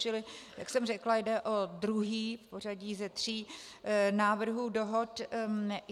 Čili jak jsem řekla, jde o druhý v pořadí ze tří návrhů dohod.